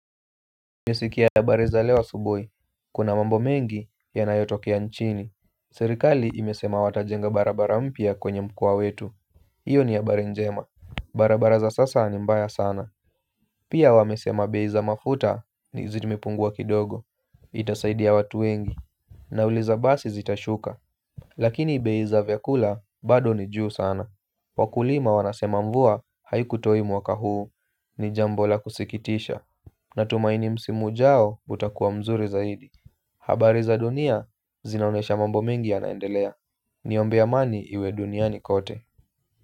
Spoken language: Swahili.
Nimesikia habari za leo asubuhi. Kuna mambo mengi yanayotokea nchini. Serikali imesema watajenga barabara mpya kwenye mkoa wetu hiyo ni habari njema. Barabara za sasa ni mbaya sana. Pia wamesema bei za mafuta ni zimepungua kidogo. Itasaidia watu wengi. Nauli za basi zitashuka. Lakini bei za vyakula bado ni juu sana. Wakulima wanasema mvua haikutoa mwaka huu. Ni jambo la kusikitisha. Natumaini msimu ujao utakuwa mzuri zaidi. Habari za dunia zinaonyesha mambo mengi yanaendelea. Niombee amani iwe duniani kote.